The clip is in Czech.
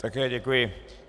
Také děkuji.